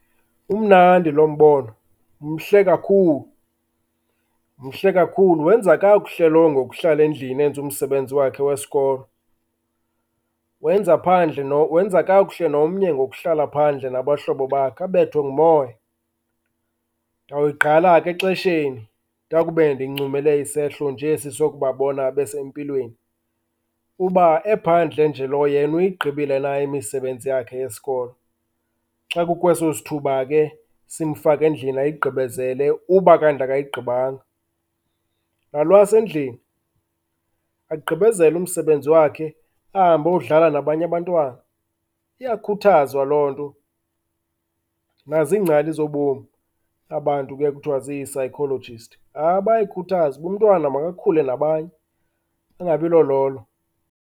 Umnandi loo mbono, mhle kakhulu, mhle kakhulu. Wenza kakuhle lowo ngokuhlala endlini enze umsebenzi wakhe wesikolo. Wenza phandle , wenza kakuhle nomnye ngokuhlala phandle nabahlobo bakhe abethwe ngumoya. Ndoyigqala ke exesheni ndakube ndincumele isehlo nje esisokubabona besempilweni, kuba ephandle nje lo yena uyigqibile na imisebenzi yakhe yesikolo, xa kukweso sithuba ke simfaka endlini ayigqibezele uba kanti akayigqibanga. Nalwasendlini agqibezele umsebenzi wakhe ahambe ayodlala nabanye abantwana. Iyakhuthazwa loo nto nazingcali zobomi, abantu kuye kuthiwa zi-psychologists. Hayi bayayikhuthaza uba umntwana makakhule nabanye, angabi lololo.